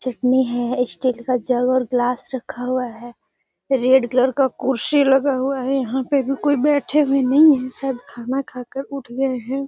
चटनी है। स्टील का जग और ग्लास रखा हुआ है। रेड कलर का कुर्सी लगा हुआ है। यहाँ पर भी कोई बैठा हुए नही है। सब खाना खाके उठ गए हैं।